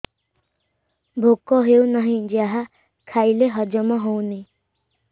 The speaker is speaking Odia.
ଭୋକ ହେଉନାହିଁ ଯାହା ଖାଇଲେ ହଜମ ହଉନି